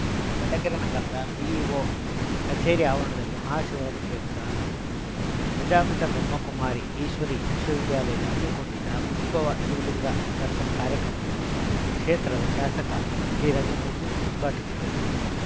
ಚಳ್ಳಕೆರೆ ನಗರದ ಬಿಇಒ ಕಚೇರಿ ಆವರಣದಲ್ಲಿ ಮಹಾಶಿವರಾತ್ರಿ ಪ್ರಯುಕ್ತ ಪ್ರಜಾಪಿತ ಬ್ರಹ್ಮ ಕುಮಾರಿ ಈಶ್ವರೀ ವಿಶ್ವವಿದ್ಯಾಲಯ ಹಮ್ಮಿಕೊಂಡಿದ್ದ ಉದ್ಭವ ಶಿವಲಿಂಗ ದರ್ಶನ ಕಾರ್ಯಕ್ರಮವನ್ನು ಕ್ಷೇತ್ರದ ಶಾಸಕ ಟಿರಘುಮೂರ್ತಿ ಉದ್ಘಾಟಿಸಿದರು